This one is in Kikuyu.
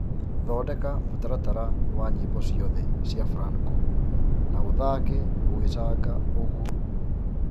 thondeka mũtaratara wa nyĩmbo cĩothe cĩa franco na ũthake ugicanga ooguo